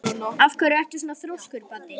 Af hverju ertu svona þrjóskur, Baddi?